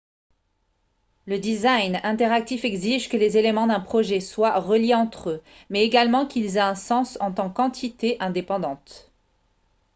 le design interactif exige que les éléments d'un projet soient reliés entre eux mais également qu'ils aient un sens en tant qu'entité indépendante